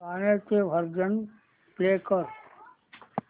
गाण्याचे version play कर